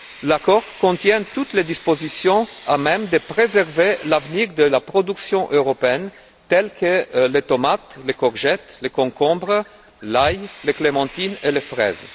L'accord contient toutes les dispositions à même de préserver l'avenir de la production européenne, comme celle des tomates, des courgettes, des concombres, de l'ail, des clémentines et des fraises.